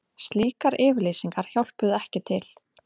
Slíkar yfirlýsingar hjálpuðu ekki til